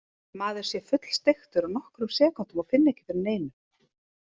Maður sé fullsteiktur á nokkrum sekúndum og finni ekki fyrir neinu.